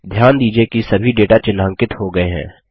ध्यान दीजिये कि सभी डेटा चिह्नांकित हो गये हैं